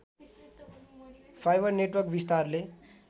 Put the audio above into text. fibre network विस्तारले